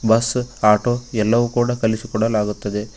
Bus auto ಎಲ್ಲವು ಕೂಡ ಕಲಿಸಿ ಕೊಡಲಾಗುತ್ತದೆ.